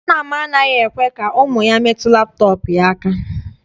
Nna m anaghị ekwe ka ụmụ ya metụ laptọọpụ ya aka.